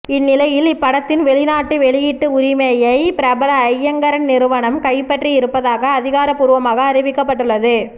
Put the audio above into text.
இந்நிலையில் இப்படத்தின் வெளிநாட்டு வெளியீட்டு உரிமையை பிரபல ஐங்கரன் நிறுவனம் கைப்பற்றியிருப்பதாக அதிகார்ப்பூர்வமாக அறிவிக்கப்பட்டுள்ளது